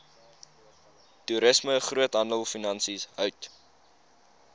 toerisme groothandelfinansies hout